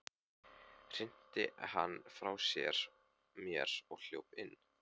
Hrinti henni frá mér og hljóp inn.